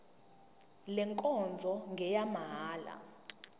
le nkonzo ngeyamahala